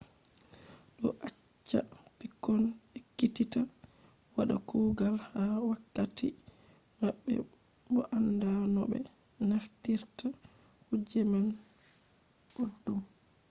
do acca pikkon ekkititta wada kugal ha wakatti mabbe bo anda no be naftirta kuje man boddum